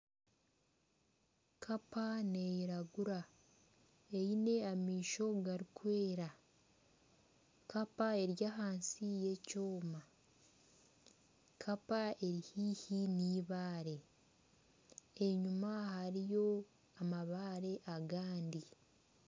Kapa neeyiragura aine amaisho garikwera kapa eri ahansi y'ekyoma, kapa eri haihi n'eibaare enyima hariho amabare agandi